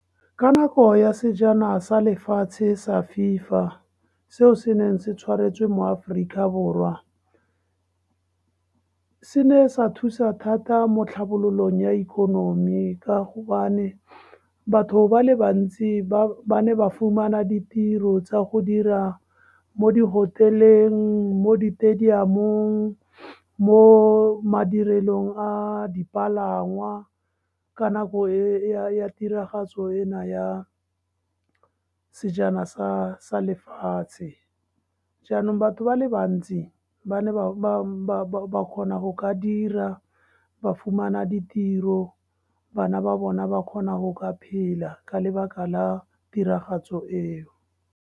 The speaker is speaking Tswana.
Ka nako ya Sejana sa Lefatshe sa FIFA, seo se neng se tshwaretswe mo Aforika Borwa, se ne sa thusa thata mo tlhabololong ya ikonomi ka gobane batho ba le bantsi ba ne ba fumana ditiro tsa go dira mo di-hotel-eng, mo ditadiamong, mo madirelong a dipalangwa, ka nako e ya tiragatso e na ya Sejana sa Lefatshe. Jaanong batho ba le bantsi, ba ne ba kgona go ka dira, ba fumana ditiro, bana ba bona ba kgona go ka phela ka lebaka la tiragatso eo.